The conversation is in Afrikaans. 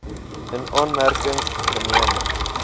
in aanmerking geneem